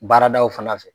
Baaradaw fana fɛ